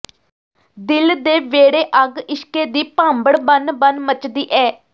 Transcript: ਦਿਲ ਦੇ ਵਿਹੜੇ ਅੱਗ ਇਸ਼ਕੇ ਦੀ ਭਾਂਬੜ ਬਣ ਬਣ ਮੱਚਦੀ ਏ